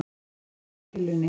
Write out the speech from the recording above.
Gíraffi á pillunni